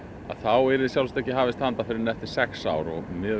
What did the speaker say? þá yrði ekki hafist handa fyrr en eftir sex ár miðað við